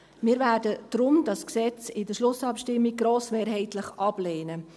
Wir werden das Gesetz deshalb in der Schlussabstimmung grossmehrheitlich ablehnen.